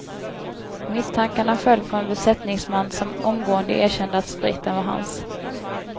Misstankarna föll på en besättningsman som omgående erkände att spriten var hans.